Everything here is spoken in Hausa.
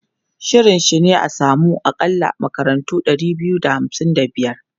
Shirin shi ne a samu akalla makarantu ɗari da hamsin da biyar.